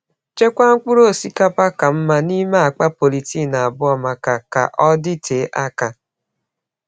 Chekwaa mkpụrụ osikapa ka mma n’ime akpa polythene abụọ maka ka ọ dịte aka.